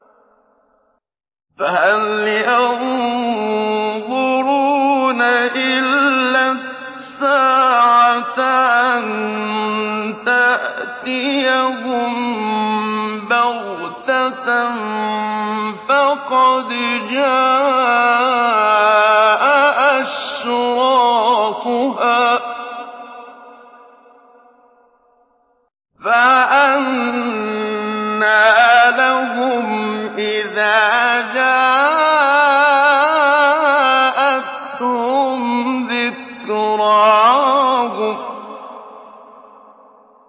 فَهَلْ يَنظُرُونَ إِلَّا السَّاعَةَ أَن تَأْتِيَهُم بَغْتَةً ۖ فَقَدْ جَاءَ أَشْرَاطُهَا ۚ فَأَنَّىٰ لَهُمْ إِذَا جَاءَتْهُمْ ذِكْرَاهُمْ